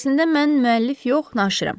Əslində mən müəllif yox, naşirəm.